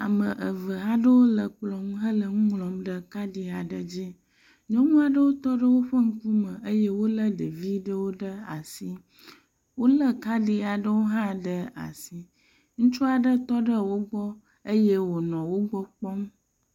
Ame eve aɖewo le kplɔ ŋu hele nu ŋlɔm ɖe kad aɖe dzi. Nyɔnu aɖewo tɔ ɖe woƒe ŋkume eye wolé ɖevi ɖewo ɖe asi, wolé kadi aɖewo hã ɖe asi. Ŋutsu aɖe tɔ ɖe wo gbɔ eye wòɔ wo gbɔ kpɔ.